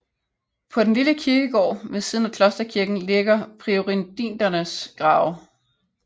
På den lille kirkegård ved siden af klosterkirken ligger priorindernes grave